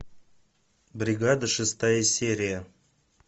бригада шестая серия